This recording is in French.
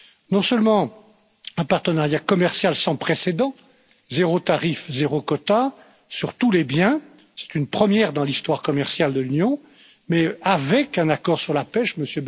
Non seulement un partenariat commercial sans précédent, zéro tarif, zéro quota sur tous les biens c'est une première dans l'histoire commerciale de l'Union mais avec un accord sur la pêche, M.